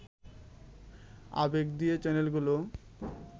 আবেগ দিয়ে চ্যানেলগুলো